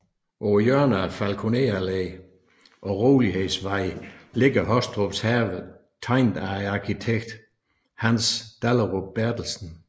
På hjørnet af Falkoner Allé og Rolighedsvej ligger Hostrups Have tegnet af arkitekt Hans Dahlerup Berthelsen